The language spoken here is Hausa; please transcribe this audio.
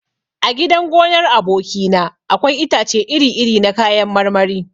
A gidan gonar aboki na akwai itace iri iri na kayan marmari.